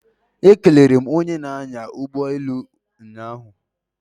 Ekelere m onye na-anya ụgbọelu ụnyaahụ